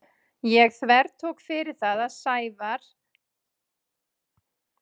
Ég þvertók fyrir það við Sævar að hann kæmi með mér.